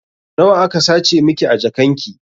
Nawa aka sace miki a jakan ki?